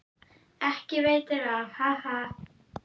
Ekki veitir af, ha ha!